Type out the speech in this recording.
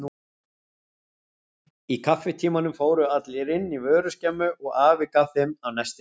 Í kaffitímanum fóru allir inn í vöruskemmu og afi gaf þeim af nestinu sínu.